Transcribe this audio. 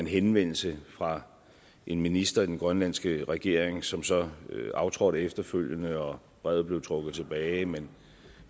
henvendelse fra en minister i den grønlandske regering som så aftrådte efterfølgende og brevet blev trukket tilbage men